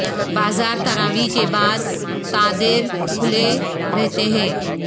بازار تراویح کے بعد تا دیر کھلے رھتے ھیں